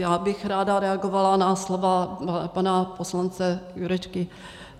Já bych ráda reagovala na slova pana poslance Jurečky.